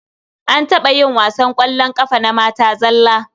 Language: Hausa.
An taɓa yin wasan ƙwallon ƙafa na mata zalla.